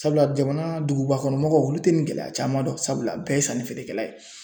Sabula jamana dugubakɔnɔmɔgɔw olu tɛ nin gɛlɛya caman dɔn sabula bɛɛ ye sanni feerekɛla ye